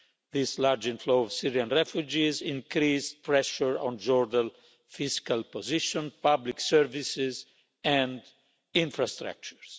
This large inflow of Syrian refugees increased pressure on Jordan's fiscal position, public services and infrastructures.